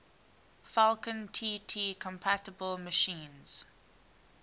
falcon tt compatible machines